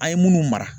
An ye munnu mara